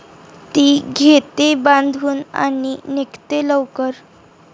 ती घेते बांधून आणि निघते लवकर.